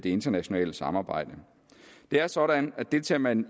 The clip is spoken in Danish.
internationale samarbejde det er sådan at deltager man